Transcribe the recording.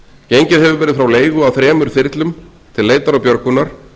gengið hefur verið frá leigu á þremur þyrlum til leitar og björgunar